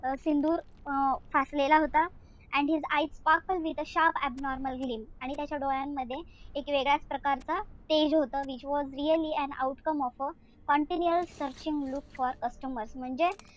अं सिंदूर अं फासलेला होता. and his eyes sparkle with a sharp abnormal gleam आणि त्याच्या डोळ्यामध्ये एक वेगळ्याच प्रकारचा तेज होता. Which was really an outcome of a continual searching look for customers म्हणजे,